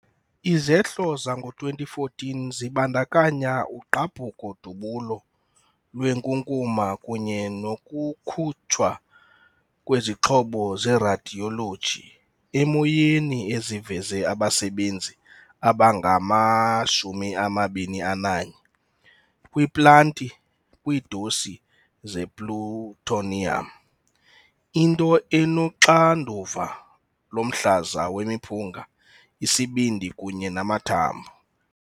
Izehlo zango-2014 zibandakanya ugqabhuko-dubulo lwenkunkuma kunye nokukhutshwa kwezixhobo zeradiyoloji emoyeni eziveze abasebenzi abangama-21 kwiplanti kwiidosi zeplutonium, into enoxanduva lomhlaza wemiphunga, isibindi kunye namathambo.